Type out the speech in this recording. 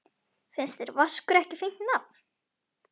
Finnst þér Vaskur ekki fínt nafn?